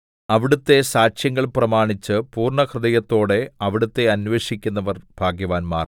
അവിടുത്തെ സാക്ഷ്യങ്ങൾ പ്രമാണിച്ച് പൂർണ്ണഹൃദയത്തോടെ അവിടുത്തെ അന്വേഷിക്കുന്നവർ ഭാഗ്യവാന്മാർ